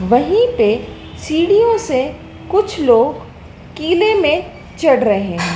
वहीं पे सीढ़ीयों से कुछ लोग किले में चढ़ रहे--